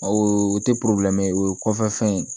O tɛ o ye kɔfɛ fɛn ye